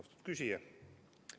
Austatud küsija!